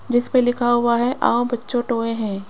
जिस पे लिखा हुआ है आओ बच्चों टॉय हैं।